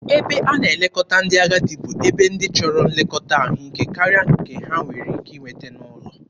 Ebe a na-elekọta ndị agadi bụ ebe ndị chọrọ nlekọta ahụike karịa ka ha nwere ike inweta n'ụlọ.